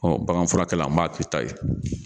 baganfurakɛla n m'a k'i ta ye.